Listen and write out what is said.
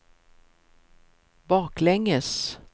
baklänges